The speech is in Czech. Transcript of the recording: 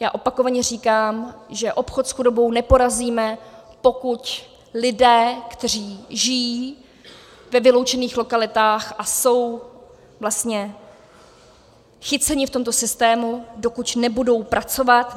Já opakovaně říkám, že obchod s chudobou neporazíme, pokud lidé, kteří žijí ve vyloučených lokalitách a jsou vlastně chyceni v tomto systému, dokud nebudou pracovat.